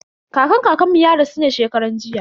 Kakan kakan mu ya rasu ne shekaran jiya.